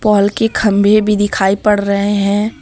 Paul के खंभे भी दिखाई पड़ रहे हैं।